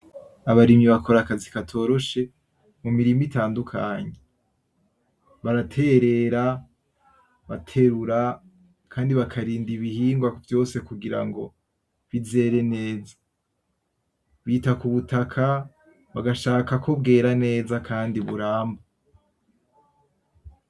Abarimyi bakora akazi katoroshe mu mirima itandukanye baratereta, baterura kandi bakarinda ibihingwa vyose kugirango bizere neza ,bita ku butaka bagashaka ko bwera neza kandi buramba.